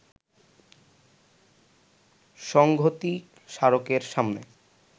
সংঘতি স্মারকের সামনে